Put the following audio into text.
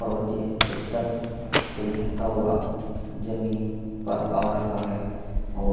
पर्वतीय क्षेत्र से बहता हुआ जमीन पर आ रहा है और --